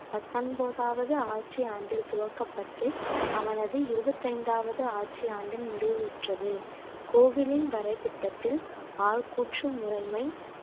பத்தொன்பதாவது ஆட்சி ஆண்டில் துவக்கப்பட்டு அவனது இருபத்தைந்தாவது ஆட்சி ஆண்டின் முடிவுற்றது கோவிலின் வரை திட்டத்தில் ஆள் கூற்றும் முறைமை